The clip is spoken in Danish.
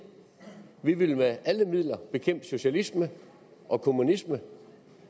vi vil med alle midler bekæmpe socialismen og kommunismen